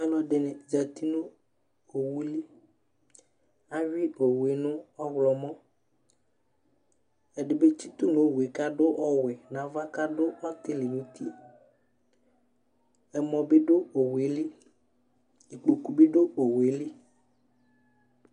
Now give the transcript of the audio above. alʋɛdini zati nʋ ɔwʋli, awi ɔwʋɛ nʋ ɔwlɔmɔ, ɛdibi tsitʋ nʋ ɔwʋɛ kʋ ɔtabi adʋ ɔwɛ nʋ aɣa kʋ adʋ ɔtili nʋ ʋti, ɛmɔ bidʋ ɔwʋɛli, ikpɔkʋ bidʋ ɔwʋɛli